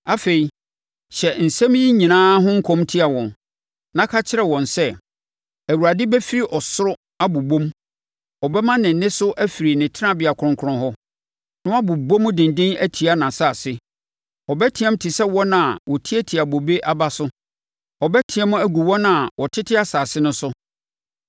“Afei, hyɛ nsɛm yi nyinaa ho nkɔm tia wɔn, na ka kyerɛ wɔn sɛ, “‘ Awurade bɛfiri soro abobom; ɔbɛma ne nne so afiri ne tenabea kronkron hɔ, na wabobɔ mu denden atia nʼasase. Ɔbɛteam te sɛ wɔn a wɔtiatia bobe aba so, ɔbɛteam agu wɔn a wɔtete asase no so.